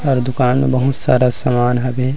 अउ दुकान मे बहुत सारा सामान हवे।